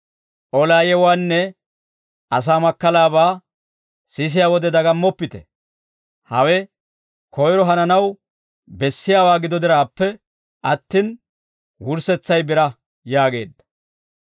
Olaa yewuwaanne asaa makkalaabaa sisiyaa wode dagammoppite; hawe koyro hananaw bessiyaawaa gido diraappe attin wurssetsay biraa» yaageedda.